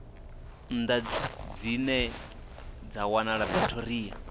nnḓa dzine dza wanala pretoria